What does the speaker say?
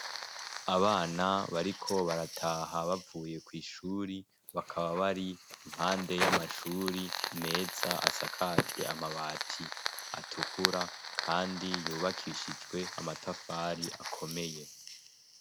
Abana bariko barataha bavuye kw'ishure, bakaba bari impande y'amashure meza asakajwe amabati atukura kandi yubakishijwe amatafari akomeye.